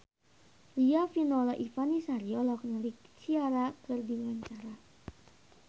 Riafinola Ifani Sari olohok ningali Ciara keur diwawancara